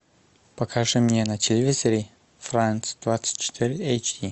покажи мне на телевизоре франц двадцать четыре эйч ди